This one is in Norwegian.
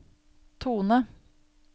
tone